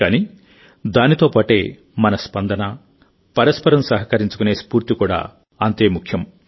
కానీ దాంతోపాటే మన స్పందన పరస్పరం సహకరించుకునే స్ఫూర్తి కూడా అంతే ముఖ్యం